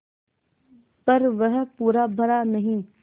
पर वह पूरा भरा नहीं